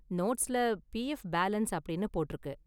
நோட்ஸ்ல PF balance அப்படின்னு போட்டிருக்கு.